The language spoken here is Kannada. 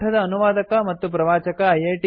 ಈ ಪಾಠದ ಅನುವಾದಕ ಮತ್ತು ಪ್ರವಾಚಕ ಐ